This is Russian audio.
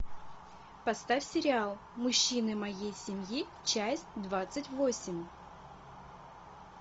поставь сериал мужчины моей семьи часть двадцать восемь